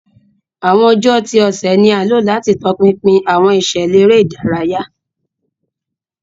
Awọn ọjọ ti ọsẹ ni a lo lati tọpinpin awọn iṣẹlẹ ere idaraya.